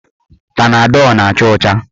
Panadọl na-acha ọcha.